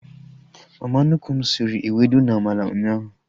Mama nnukwu m sịrị ewedu na amala ụnyaahụ